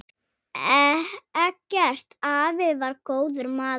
Eggert afi var góður maður.